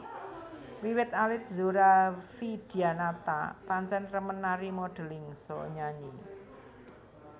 Wiwit alit Zora Vidyanata pancén remen nari modeling saha nyanyi